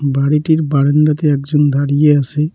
বাড়িটির বারান্দাতে একজন দাঁড়িয়ে আছে।